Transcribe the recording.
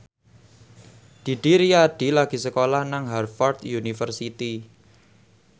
Didi Riyadi lagi sekolah nang Harvard university